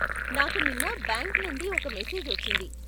నాకు నిన్న బ్యాంక్ నుండి ఒక మెసేజ్ వచ్చింది.